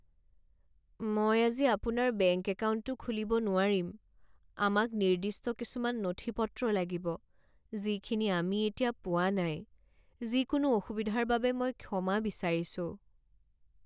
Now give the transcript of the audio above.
মই আজি আপোনাৰ বেংক একাউণ্টটো খুলিব নোৱাৰিম। আমাক নিৰ্দিষ্ট কিছুমান নথিপত্ৰ লাগিব যিখিনি আমি এতিয়া পোৱা নাই। যিকোনো অসুবিধাৰ বাবে মই ক্ষমা বিচাৰিছোঁ।